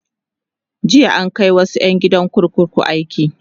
jiya an Kai wasu ƴan gidan kurkuku aiki